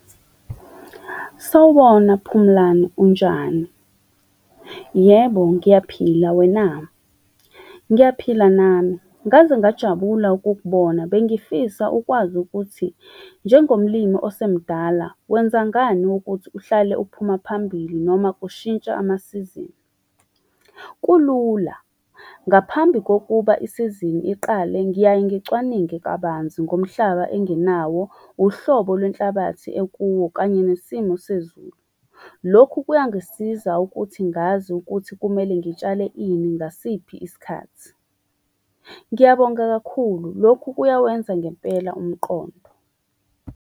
Sawubona Phumulani, unjani? Yebo, ngiyaphila, wena? Ngiyaphila nami, ngaze ngajabula ukukubona. Bengifisa ukwazi ukuthi njengomlimi osemdala, wenzangani ukuthi uhlale uphuma phambili, noma kushintsha amasizini. Kulula. Ngaphambi kokuba isizini iqale, ngiyaye ngicwaninge kabanzi ngomhlaba enginawo, uhlobo lwenhlabathi ekuwo, kanye nesimo sezulu. Lokhu kuyangisiza ukuthi ngazi ukuthi kumele ngitshale ini, ngasiphi isikhathi. Ngiyabonga kakhulu, lokhu kuyawenza ngempela umqondo.